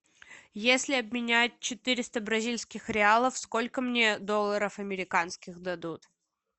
если обменять четыреста бразильских реалов сколько мне долларов американских дадут